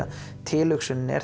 tilhugsunin er